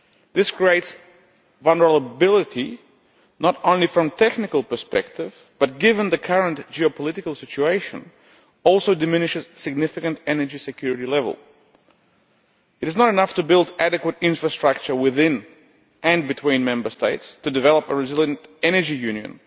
This creates vulnerability, not only from a technical perspective, but, given the current geopolitical situation, it also diminishes significantly the level of energy security. It is not enough to build adequate infrastructure within, and between, Member States to develop a resilient energy union.